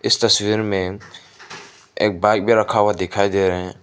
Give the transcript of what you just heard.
इस तस्वीर मे एक बाइक भी रखा हुआ दिखाई दे रहें--